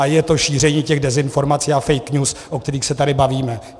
A je to šíření těch dezinformací a fake news, o kterých se tady bavíme.